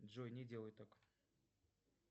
джой не делай так